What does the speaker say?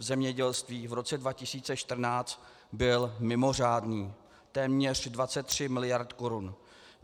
V zemědělství v roce 2014 byl mimořádný, téměř 23 miliard korun.